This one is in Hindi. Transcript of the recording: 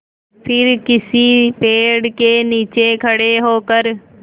फिर किसी पेड़ के नीचे खड़े होकर